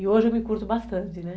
E hoje eu me curto bastante, né?